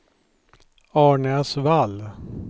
Arnäsvall